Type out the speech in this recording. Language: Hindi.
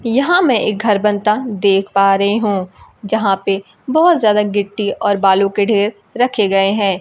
यहां मैं एक घर बनता देख पा रही हूं यहां पे बहुत ज्यादा गिट्टी और बालू के ढेर रखे गए हैं।